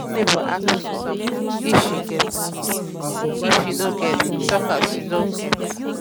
when neighbor ask you for something if you get give if you no get talk say you no get